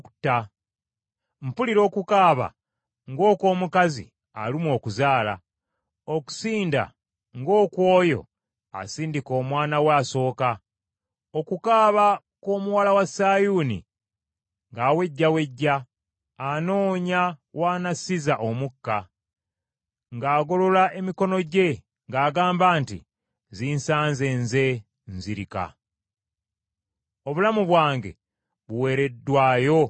Mpulira okukaaba ng’okw’omukazi alumwa okuzaala, okusinda ng’okw’oyo asindika omwana we asooka, okukaaba kw’omuwala wa Sayuuni ng’awejjawejja anoonya w’anassiza omukka, ng’agolola emikono gye ng’agamba nti, “Zinsanze nze, nzirika. Obulamu bwange buweereddwayo mu batemu.”